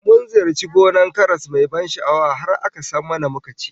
Mun ziyarci gonar karas mai ban sha'awa, har aka sam mana muka ci